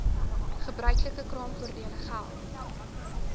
gebruiklike kraamvoordele geld